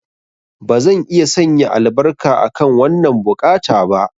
Bazan iya sanya albarka akan wannan buƙata ba.